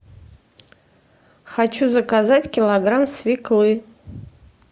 хочу заказать килограмм свеклы